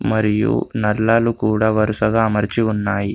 మరియు నల్లలు కూడా వరుసగా అమర్చి ఉన్నాయి.